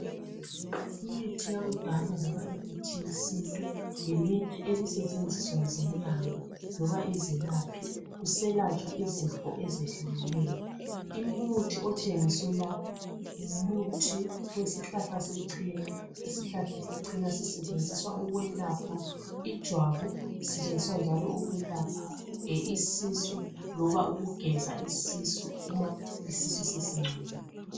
Imithi yakudala loba imithi yesintu iyasetshenziswa zinyanga lobanizelaphi kuselatshwa izifo ezehlukeneyo. Umuthi otshengiswe lapha ngumuthi wesihlahla sechena. Sona sisetshenziswa ukwelapha ijwabu kanye lesisu loba ukusigeza nxa sesingcolile.